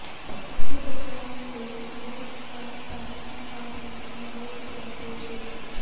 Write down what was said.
ਸਾਡੇ ਬਚਾਅ ਲਈ ਉਹ ਕਲ ਤਾਈਂ ਆਪ ਹੀ ਲਾਹੌਰ ਜਾ ਪੇਸ਼ ਹੋਣ